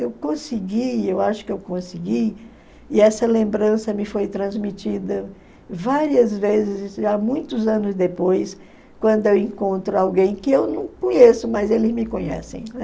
Eu consegui, eu acho que eu consegui, e essa lembrança me foi transmitida várias vezes, muitos anos depois, quando eu encontro alguém que eu não conheço, mas eles me conhecem, né?